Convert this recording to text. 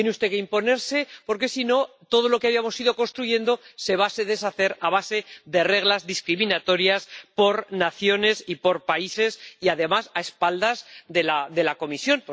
Tiene usted que imponerse porque, si no, todo lo que habíamos ido construyendo se va a deshacer a base de reglas discriminatorias por naciones y por países, y además, a espaldas de la Comisión.